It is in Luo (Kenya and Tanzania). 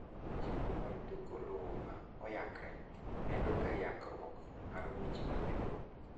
chenro mar ndiko lowo ma oyangre medo ga yangruok mar weche mag lowo